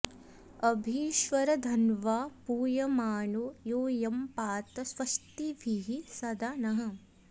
अ॒भि स्व॑र॒ धन्वा॑ पू॒यमा॑नो यू॒यं पा॑त स्व॒स्तिभिः॒ सदा॑ नः